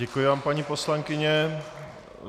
Děkuji vám, paní poslankyně.